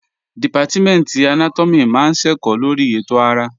Dìpátímẹ̀ntì Anátọ́mì máa ń ṣẹ̀kọ́ lórí ètò ara